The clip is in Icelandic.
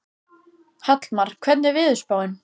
Hallmar, hvernig er veðurspáin?